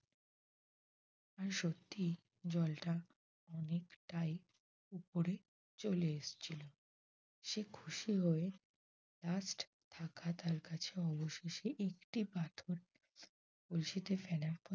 আর সত্যি জলটা অনেকটাই উপরে চলে এসেছিল। সে খুশি হয়ে কাছে থাকা অবশেষে একটি পাথর কলসিতে ফেলার পর